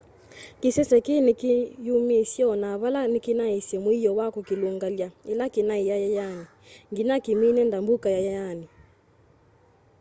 kisese kii nikiyumiisye ona vala nikinaisye muio wa kukilungalya ila kinai yayayani nginya kimine ndambuka yayayani